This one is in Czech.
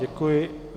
Děkuji.